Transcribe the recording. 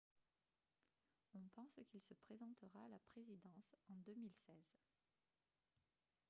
on pense qu'il se présentera à la présidence en 2016